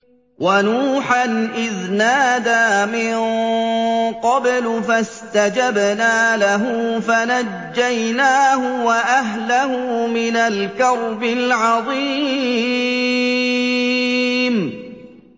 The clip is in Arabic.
وَنُوحًا إِذْ نَادَىٰ مِن قَبْلُ فَاسْتَجَبْنَا لَهُ فَنَجَّيْنَاهُ وَأَهْلَهُ مِنَ الْكَرْبِ الْعَظِيمِ